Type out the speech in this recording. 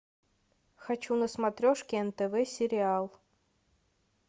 хочу на смотрешке нтв сериал